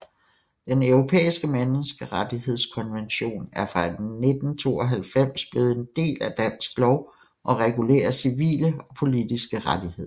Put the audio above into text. Den Europæiske Menneskerettighedskonvention er fra 1992 blevet en del af dansk lov og regulerer civile og politiske rettigheder